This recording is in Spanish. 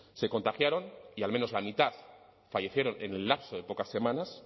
se contagiaron y al menos la mitad fallecieron en el lapso de pocas semanas